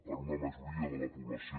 per una majoria de la po blació